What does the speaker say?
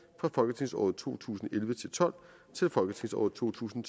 fra folketingsåret to tusind og elleve til tolv til folketingsåret to tusind